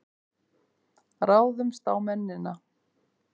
Ráðumst á mennina!